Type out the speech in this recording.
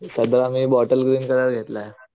सदरा मी bottle green colour घेतलाय